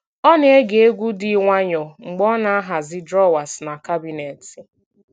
Ọ na-ege egwu dị nwayọọ mgbe ọ na-ahazi drọwas na kabinet